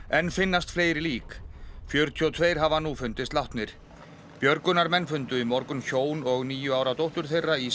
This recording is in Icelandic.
enn finnast fleiri lík fjörutíu og tvö hafa nú fundist látnir björgunarmenn fundu í morgun hjón og níu ára dóttur þeirra í